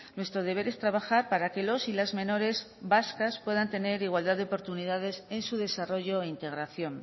nuestro deber es trabajar para que los y las menores vascas puedan tener igualdad de oportunidades en su desarrollo e integración